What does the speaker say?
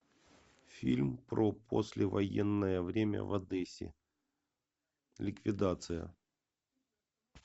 фильм про послевоенное время в одессе ликвидация